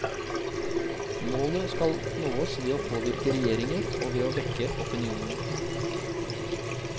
Målet skal nås ved å påvirke regjeringer og ved å vekke opinionen.